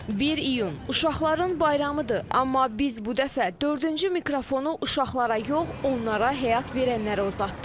1 iyun Uşaqların bayramıdır, amma biz bu dəfə dördüncü mikrofonu uşaqlara yox, onlara həyat verənlərə uzatdıq.